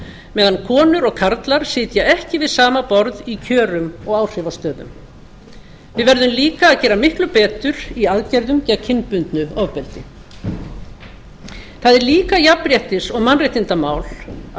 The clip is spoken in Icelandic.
meðan konur og karlar sitja ekki við sama borð í kjörum og áhrifastöðum við verðum líka að gera miklu betur í aðgerðum gegn kynbundnu ofbeldi það er líka jafnréttis og mannréttindamál að